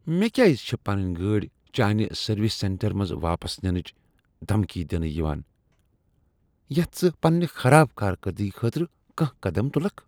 مےٚ کیٛازِ چھٚے پنٕنۍ گٲڑۍ چانہِ سٔروس سینٹر منزٕ واپس ننٕچ دمکی دِنہٕ یِوان یتھ ژٕ پننہ خراب کار کردگی خٲطرٕ کانٛہہ قدم تلکھ؟